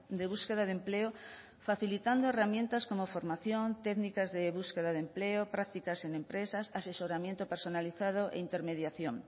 de búsqueda de empleo facilitando herramientas como formación técnicas de búsqueda de empleo prácticas en empresas asesoramiento personalizado e intermediación